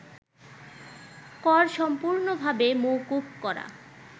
কর সম্পূর্ণভাবে মওকুফ করা